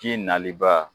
Ji naliba